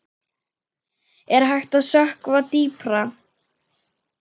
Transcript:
Er hægt að sökkva dýpra?